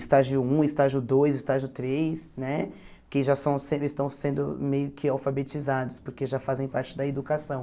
estágio um, estágio dois, estágio três, né que já são sendo estão sendo meio que alfabetizados, porque já fazem parte da educação.